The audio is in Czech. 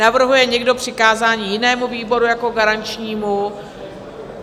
Navrhuje někdo přikázání jinému výboru jako garančnímu?